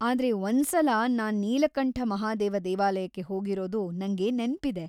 ಆದ್ರೆ ಒಂದ್ಸಲ ನಾನ್ ನೀಲಕಂಠ ಮಹಾದೇವ ದೇವಾಲಯಕ್ಕೆ ಹೋಗಿರೋದು ನಂಗೆ ನೆನ್ಪಿದೆ.